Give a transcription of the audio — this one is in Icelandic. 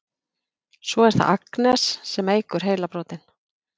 Svo er það Agnes sem eykur heilabrotin.